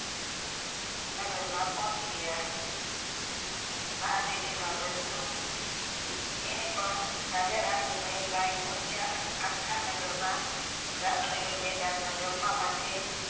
નગર માં પહોંચી ગયા મહાદેવ ના વ્રત નો એને પણ રાજા રાની ના મહેલ માં આવી પોંહચીયા અને આખા નગર માં રાજમહેલ મેદમ માં જમવા માટે